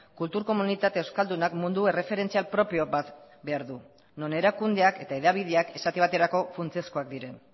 kultur komunitate euskaldunak mundu erreferentzial propio bat behar du non erakundeak eta hedabideak esate baterako funtsezkoak diren